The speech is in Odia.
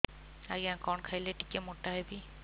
ଆଜ୍ଞା କଣ୍ ଖାଇଲେ ଟିକିଏ ମୋଟା ହେବି